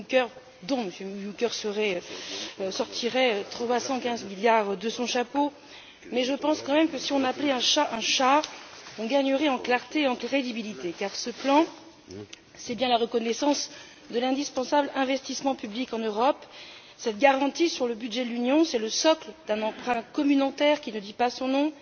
Juncker qui sortirait 315 milliards de son chapeau, mais je pense quand même que si l'on appelait un chat un chat, on gagnerait en clarté et en crédibilité, car, ce plan, c'est bien la reconnaissance de l'indispensable investissement public en Europe, cette garantie sur le budget de l'Union, c'est le socle d'un emprunt communautaire qui ne dit pas son nom.